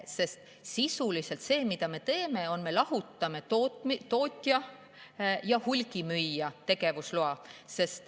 Me sisuliselt lahutame tootja ja hulgimüüja tegevusloa.